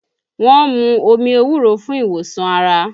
Wọ́n mú omi ewúro fún ìwòsàn ara